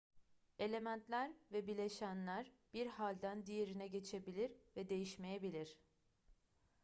elementler ve bileşenler bir halden diğerine geçebilir ve değişmeyebilir